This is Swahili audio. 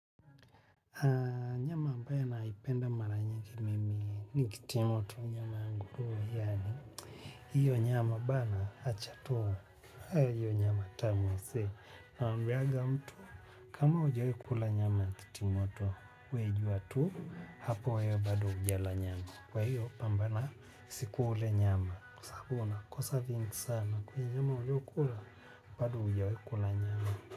Nyama ambayo naipenda mara nyingi mimi, nikitimoto nyama ya nguruwe yaani, hiyo nyama bana acha tu, hiyo nyama tamu msee, naambianga mtu, kama hujai kula nyama kitimoto, we jua tu, hapo wewe bado hujala nyama, kwa hiyo pambana siku ule nyama, kwa saabu huwa unakosa vingi sana kwenye ile uliokula bado hujawahi kula nyama.